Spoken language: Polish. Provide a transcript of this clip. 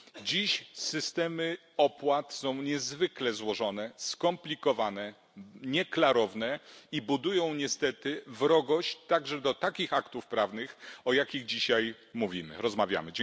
Dziś systemy opłat są niezwykle złożone, skomplikowane, nieklarowne i budują niestety wrogość także do takich aktów prawnych, o jakich dzisiaj mówimy, rozmawiamy.